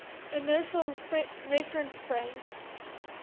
inertial reference frame